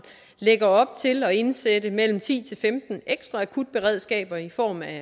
lægger op til at indsætte mellem ti og femten ekstra akutberedskaber i form af